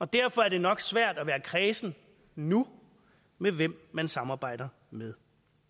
derfor er det nok svært at være kræsen nu med hvem man samarbejder med